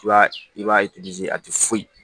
I b'a i b'a a tɛ foyi